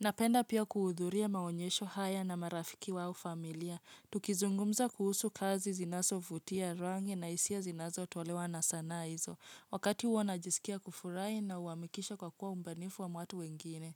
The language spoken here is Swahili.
Napenda pia kuhudhuria maonyesho haya na marafiki au familia. Tukizungumza kuhusu kazi zinazovutia rangi na hisia zinazotolewa na sanaa hizo. Wakati huo najisikia kufurahi na huamshwa kwa kuona ubunifu wa watu wengine.